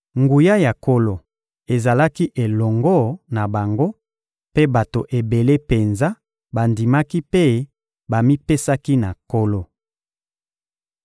Nguya ya Nkolo ezalaki elongo na bango, mpe bato ebele penza bandimaki mpe bamipesaki na Nkolo.